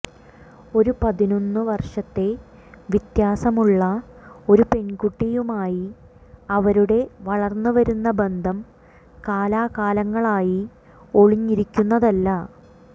ഒരു പതിനൊന്നു വർഷത്തെ വ്യത്യാസം ഉള്ള ഒരു പെൺകുട്ടിയുമായി അവരുടെ വളർന്നുവരുന്ന ബന്ധം കാലാകാലങ്ങളായി ഒളിഞ്ഞിരിക്കുന്നതല്ല